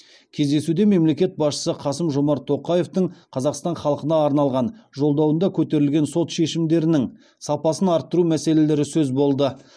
кездесуде мемлекет басшысы қасым жомарт тоқаевтың қазақстан халқына арнаған жолдауында көтерілген сот шешімдерінің сапасын арттыру мәселелері сөз болды